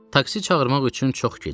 Taksi çağırmaq üçün çox gec idi.